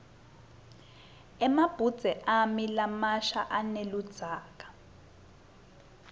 emabhudze ami lamasha aneludzaka